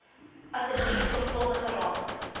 asseblief sorgvuldige ramings